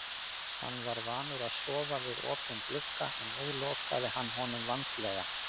Hann var vanur að sofa við opinn glugga en nú lokaði hann honum vandlega.